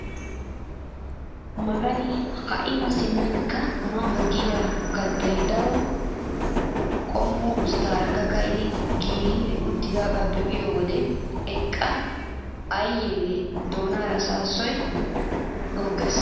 Magani ha'i mi simmnkka ma ma giyaa kattay daro qommo usttaara ka'idi giigi uttidagaa be'iyoo wode eqqa ayiyaa yelin doonaara saassoy goggees!